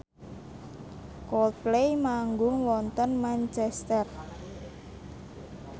Coldplay manggung wonten Manchester